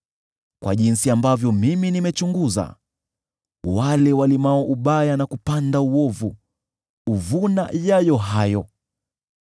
Kwa jinsi ambavyo mimi nimechunguza, wale walimao ubaya na wale hupanda uovu, huvuna hayo hayo hayo.